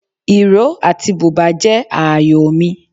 Ìró àti bùbá jẹ́ ààyò mi.